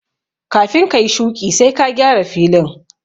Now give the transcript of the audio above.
Kafin ka yi shuƙi sai ka gyara filin